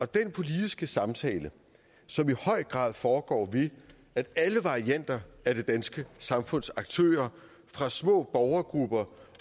den politiske samtale som i høj grad foregår ved at alle varianter af det danske samfunds aktører fra små borgergrupper